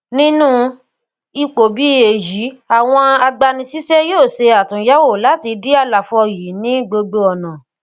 nínu ipò bí èyí àwọn agbanisíṣé yóò ṣe àtuyèwò láti dí àlàfò yìí ní gbogbo ònà